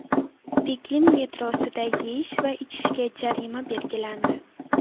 Pekin metrosida yeyish va ichishga jarima belgilandi.